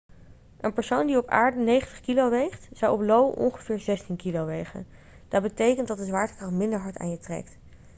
een persoon die op aarde 90 kg weegt zou op io ongeveer 16 kg wegen dat betekent dat de zwaartekracht minder hard aan je trekt